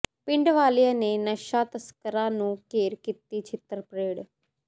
ਪਿੰਡ ਵਾਲਿਆਂ ਨੇ ਨਸ਼ਾ ਤਸਕਰਾਂ ਨੂੰ ਘੇਰ ਕੀਤੀ ਛਿੱਤਰਪ੍ਰੇਡ